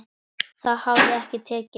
Það hafi ekki tekist.